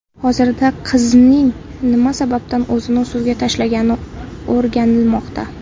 Hozirda qizning nima sababdan o‘zini suvga tashlagani o‘rganilmoqda.